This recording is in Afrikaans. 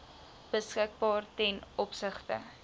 beskikbaar ten opsigte